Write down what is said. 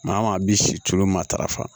Maa maa bi si tulu ma tarafa